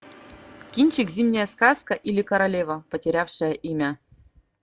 кинчик зимняя сказка или королева потерявшая имя